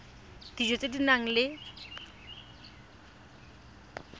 dijo tse di nang le